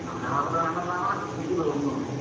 ന്യൂനമർദ്ദം ആണെന്നാണ് എനിക്ക് തോന്നുന്നത്.